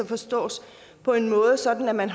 forstås sådan at man